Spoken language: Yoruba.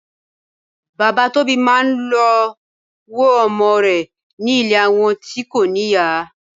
Bàbá Tóbi máa ń lọ wo ọmọ rẹ̀ ní ilé àwọn tí kò níyà.